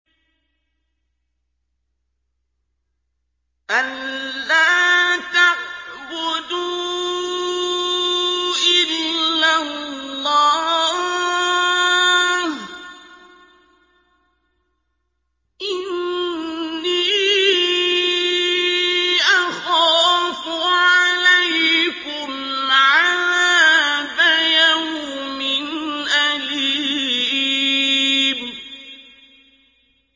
أَن لَّا تَعْبُدُوا إِلَّا اللَّهَ ۖ إِنِّي أَخَافُ عَلَيْكُمْ عَذَابَ يَوْمٍ أَلِيمٍ